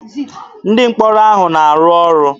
Ndị mkpọrọ ahụ na-arụ ọrụ.